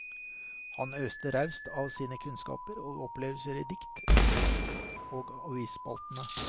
Han øste raust av sine kunnskaper og opplevelser i dikt, bøker og avisspaltene.